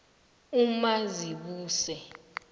umazibuse